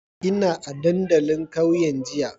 Ina a dandalin kauyen jiya.